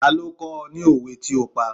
Ta ló ó kó ni òwe tí ó pa?